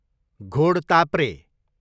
घोडताप्रे